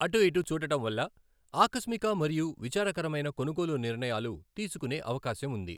అటు ఇటు చూడటం వల్ల ఆకస్మిక మరియు విచారకరమైన కొనుగోలు నిర్ణయాలు తీసుకునే అవకాశం ఉంది.